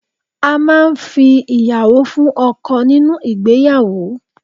A máà ń fi ìyàwó fún ọkọ nínú ìgbéyàwó